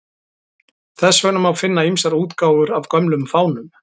Þess vegna má finna ýmsar útgáfur af gömlum fánum.